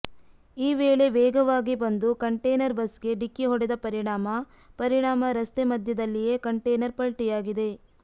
ಈ ವೇಳೆ ವೇಗವಾಗಿ ಬಂದು ಕಂಟೇನರ್ ಬಸ್ ಗೆ ಡಿಕ್ಕಿ ಹೊಡೆದ ಪರಿಣಾಮ ಪರಿಣಾಮ ರಸ್ತೆ ಮಧ್ಯೆದಲ್ಲಿಯೇ ಕಂಟೇನರ್ ಪಲ್ಟಿಯಾಗಿದೆ